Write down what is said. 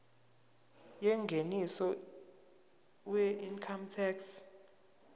yengeniso weincome tax